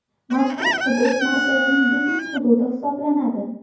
Mazkur hudud markazning biznes hududi hisoblanadi.